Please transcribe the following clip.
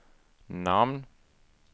namn